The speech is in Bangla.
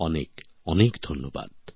অনেক অনেক ধন্যবাদ